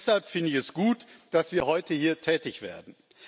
Deshalb finde ich es gut, dass wir heute hier tätig werden.